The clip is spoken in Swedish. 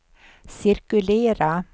cirkulera